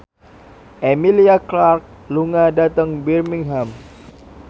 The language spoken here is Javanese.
Emilia Clarke lunga dhateng Birmingham